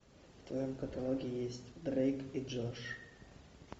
в твоем каталоге есть дрейк и джош